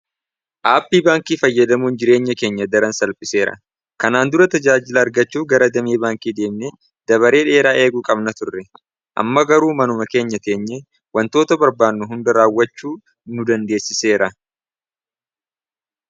Aappii baankii fayyadamuun jireenya keenya daran salphiseera kanaan dura tajaajila argachuu gara damee baankii deemne dabaree dheeraa eeguu qabna turre, amma garuu manuma keenya teenye wantoota barbaannu hunda raawwachuu nu dandeessiseera.